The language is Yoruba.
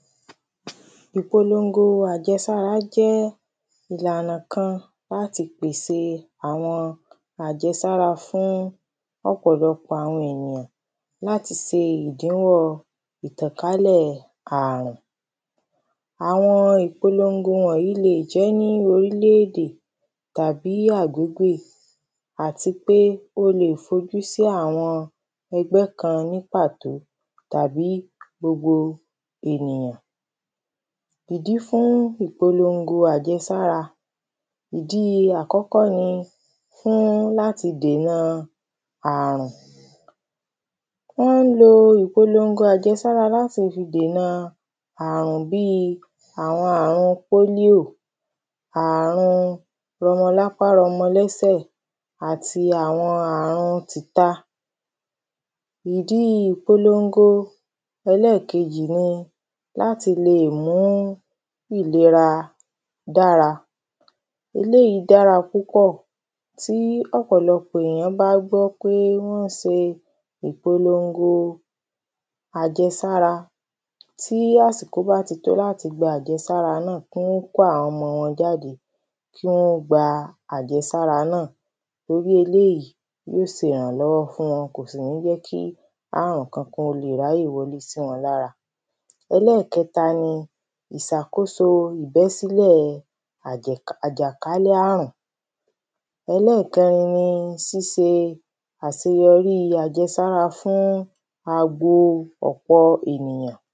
Ìpolongo àjẹsára jẹ́ ìlànà kan láti pèse àwọn àjẹsára fún ọ̀pọ̀lọpọ̀ àwọn ènìyàn láti se ìdínrọ̀ ìtànkálẹ̀ àrùn. Àwọn ìpolongo wọ̀nyí le jẹ́ nínú orílẹ̀ èdè tàbí àgógóyé àtipé ó le fojú sí àwọn ẹgbẹ́ kan ní pàtó àbí gbogbo ènìyàn. Ìdí fún ìpolongo àjesára ìdí àkọ́kọ́ ni fún láti dèna àrùn. Wọ́n ń lo ìpolongo àjesára láti fi dèna àrùn bí àwọn àrùn pólíò àrun rọmọlápá rọmọlẹ́sẹ̀ àti àwọn àrun tìta. Ìdí ìpolongo ẹlẹ́ẹ̀kejì ni láti le mú ìlera dára eléèyí dára púpọ̀ tí ọ̀pọ̀lọpọ̀ èyàn bá gbọ́ pé wọ́n ń se ìpolongo àjesára tí àsìkò bá ti tó láti gba àjẹsára náà kí wọ́n kó àwọn ọmọ wọn jáde kí wọ́n gba àjẹsára náà torí eléèyí yó se ìrànlọ́wọ́ fún wọn kò sì ní jẹ́ kí àrùn kankan ó le ráyè wọlé sí wọn lára. Ẹlẹ́ẹ̀kẹta ni ìsàkóso ìbẹ́sílẹ̀ àjè àjàkálẹ̀ àrùn. Ẹlẹ́ẹ̀kẹrin ni síse àseyọrí àjẹsára fún àbo ọ̀pọ̀ ènìyàn.